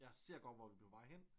Jeg ser godt hvor vi er på vej hen